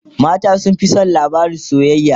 mata sun Fi San labarin soyayya